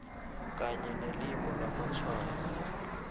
kanye nelimi lamatshwayo